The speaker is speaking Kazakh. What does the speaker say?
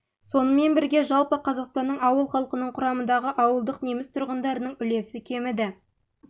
сонымен бірге жалпы қазақстанның ауыл халқының құрамындағы ауылдық неміс тұрғындарының үлесі кеміді